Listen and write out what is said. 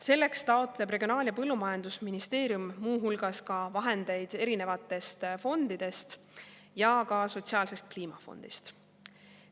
Selleks taotleb Regionaal‑ ja Põllumajandusministeerium muu hulgas vahendeid erinevatest fondidest, ka Sotsiaalsest Kliimafondist.